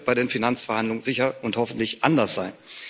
Das wird bei den Finanzverhandlungen sicher und hoffentlich anders sein.